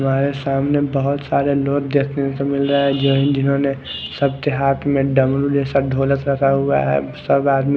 हमारे सामने बहोत सारे लोग देखने को मिल रहे है जिन जिन्होंने सबके हाथ में डमरू जेसा ढोलक सजा हुआ है सब आदमी--